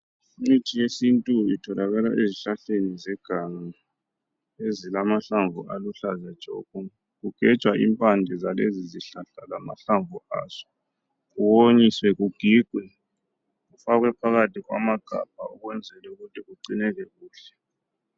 Imithi yesintu itholakala ezihlahleni zeganga ezilamahlamvu aluhlaza tshoko. Kugejwa impande zalezi zihlahla lamahlamvu azo kuwonyiswe kugigwe kufakwe phakathi kwamagabha ukwenzela ukuthi kugcineke kuhle.